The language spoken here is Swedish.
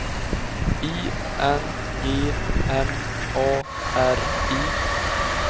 I N G M A R I